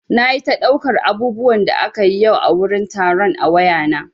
Nayi ta ɗaukar abubuwan da akayi yau a wurin taron a wayana.